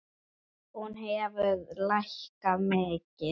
Hún hefur lækkað mikið.